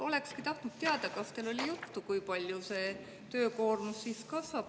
Olekski tahtnud teada, kas teil oli juttu, kui palju see töökoormus siis kasvab.